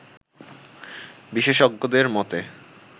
বিশ্ষেজ্ঞদের মতে